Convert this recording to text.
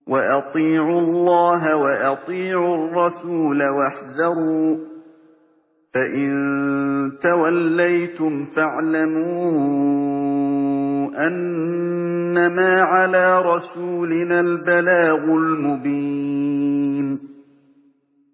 وَأَطِيعُوا اللَّهَ وَأَطِيعُوا الرَّسُولَ وَاحْذَرُوا ۚ فَإِن تَوَلَّيْتُمْ فَاعْلَمُوا أَنَّمَا عَلَىٰ رَسُولِنَا الْبَلَاغُ الْمُبِينُ